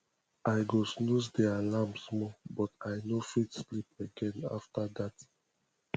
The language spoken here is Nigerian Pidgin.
i go come snooze di alarm small but i no fit sleep again after that